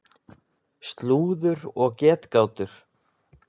Slúður og getgátur.